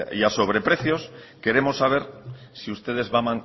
a sobreprecios queremos saber si ustedes